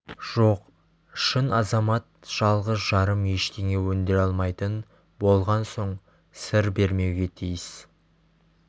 жоқ шын азамат жалғыз-жарым ештеңе өндіре алмайтын болған соң сыр бермеуге тиіс